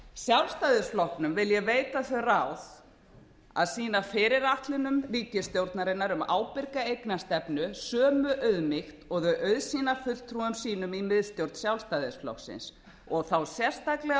sjálfstæðisflokknum vil ég veita þau ráð að sýna fyrirætlunum ríkisstjórnarinnar um ábyrga eignarstefnu sömu auðmýkt og þeir auðsýna fulltrúum sínum í miðstjórn sjálfstæðisflokksins og þá sérstaklega